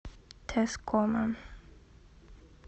тэскома